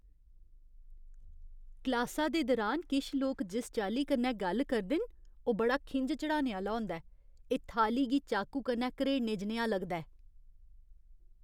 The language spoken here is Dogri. क्लासा दे दुरान किश लोक जिस चाल्ली कन्नै गल्ल करदे न ओह् बड़ा खिंझ चढ़ाने आह्‌ला होंदा ऐ, एह् थाली गी चाकू कन्नै घरेड़ने जनेहा लगदा ऐ।